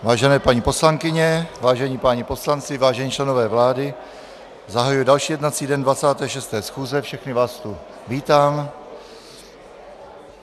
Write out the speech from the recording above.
Vážené paní poslankyně, vážení páni poslanci, vážení členové vlády, zahajuji další jednací den 26. schůze, všechny vás tu vítám.